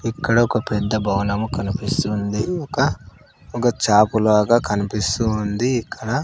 ఇక్కడ ఒక పెద్ద భవనము కనిపిస్తుంది ఒక ఒక చాప లాగా కనిపిస్తూ ఉంది ఇక్కడ--